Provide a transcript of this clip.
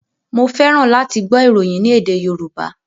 Mo fẹ́ràn láti gbọ́ ìròyìn ní èdè Yorùbá.